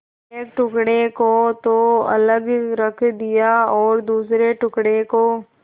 एक टुकड़े को तो अलग रख दिया और दूसरे टुकड़े को